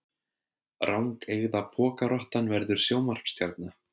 Rangeygða pokarottan verður sjónvarpsstjarna